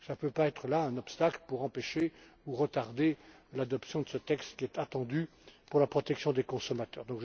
Il ne peut s'agir d'un obstacle pour empêcher ou retarder l'adoption de ce texte qui est attendu pour la protection des consommateurs.